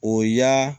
O y'a